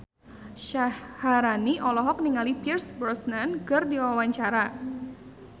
Syaharani olohok ningali Pierce Brosnan keur diwawancara